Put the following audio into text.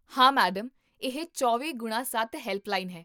ਹਾਂ, ਮੈਡਮ, ਇਹ ਚੌਵੀਂ ਗੁਣਾ ਸੱਤ ਹੈਲਪਲਾਈਨ ਹੈ